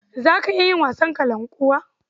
Za ka iya yin wasan kalankuwa?